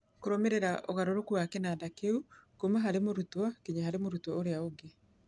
Kũrũmĩrĩra ũgarũrũku wa kĩnanda kĩu kuuma harĩ mũrutwo nginya harĩ mũrutwo ũngĩ.